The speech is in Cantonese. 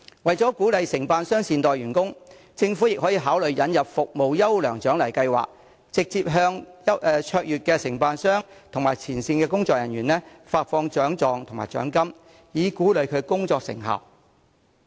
為鼓勵承辦商善待員工，政府可考慮引入"服務優良獎勵計劃"，直接向表現卓越的承辦商及前線工作人員發放獎狀和獎金，以鼓勵其工作成效。